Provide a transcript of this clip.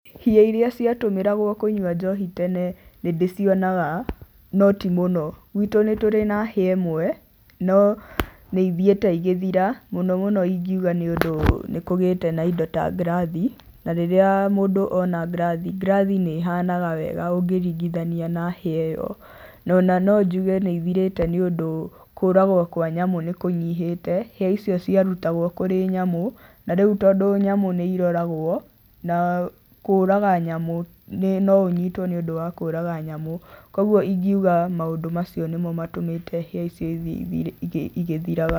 Hĩa iria ciatũmĩragwo kũnyua njohi tene nĩndĩcionaga, no ti mũno. Gwitũ nĩtũrĩ na hĩa ĩmwe no nĩithiĩte igĩthira mũno mũno ingiuga nĩũndũ nĩ kũgĩte na indo ta ngirathi na rĩrĩa mũndũ ona ngirathi, ngirathi nĩ ihanaga wega ũngĩringithania na hĩa ĩyo. Ona no njuge nĩ ithirĩte nĩũndũ kũũragwo kwa nyamũ nĩ kũnyihĩte, hĩa icio ciarutagwo kũrĩ nyamũ na rĩu tondũ nyamũ nĩ iroragwo, na kũũraga nyamũ no ũnyitwo nĩũndũ wa kũũraga nyamũ koguo ingiuga maũndũ macio nĩmo matũmĩte hĩa icio ithiĩ igĩthiraga.